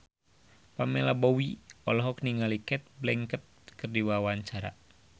Pamela Bowie olohok ningali Cate Blanchett keur diwawancara